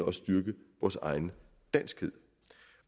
også styrke vores egen danskhed